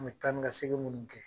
An bɛ taa ni ka segin minnu kɛ,